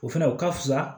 O fɛnɛ o ka fusa